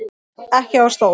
Ekki á stól.